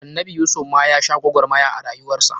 Annabi Yusuf ma ya sha gwagwarmaya a rayuwar sa.